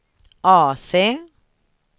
AC